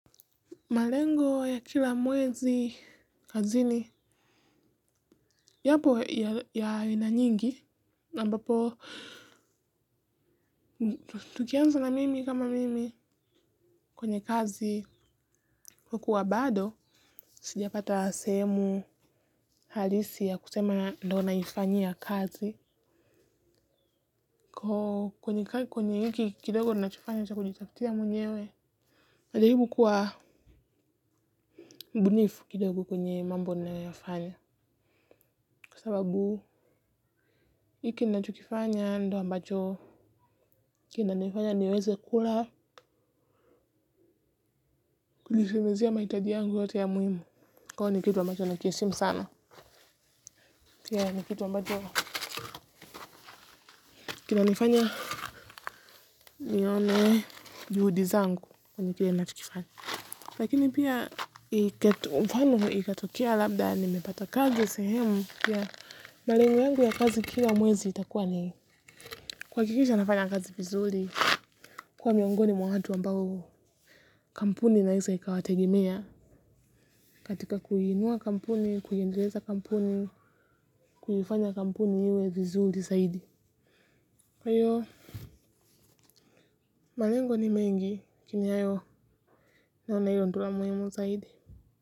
Malengo ya kila mwezi kazini yapo ya aina nyingi. Ambapo, tukianza na mimi kama mimi kwenye kazi kukuwa bado. Sijapata sehemu halisi ya kusema ndio naifanyia kazi. Kwenye kwenye hiki kidogo ninachokifanya ni cha kujitafutia mwenyewe. Najaribu kuwa mbunifu kidogo kwenye mambo ninayoyafanya kwa sababu. Hiki nichokifanya ndo ambacho kinachokifanya niweze kula kulisemezia mahitaji yangu yote ya muhimu. Kwao ni kitu ambacho nakiheshimu sana. Pia ni kitu ambacho kinanifanya nione juhudi zangu kwenye kile nachokifanya. Lakini pia ikatokea labda nimepata kazi sehemu ya malengo yangu ya kazi kila mwezi itakuwa ni kuhakikisha nafanya kazi vizuri. Kwa miongoni mwa watu ambao kampuni inaweza ikawategemea katika kuinua kampuni, kuyaendeleza kampuni, kuifanya kampuni iwe vizuri zaidi. Kwa hiyo malengo ni mengi lakini hayo naona hilo ndilo muhimu zaidi.